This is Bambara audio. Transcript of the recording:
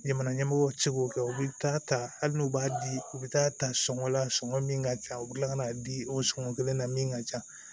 Jamana ɲɛmɔgɔw bɛ se k'o kɛ u bɛ taa ta hali n'u b'a di u bɛ taa ta sɔngɔ la sɔngɔ min ka ca u bɛ kila ka n'a di o sɔngɔn kelen na min ka ca